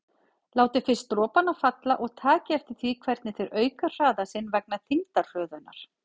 Látið fyrst dropana falla og takið eftir því hvernig þeir auka hraða sinn vegna þyngdarhröðunar.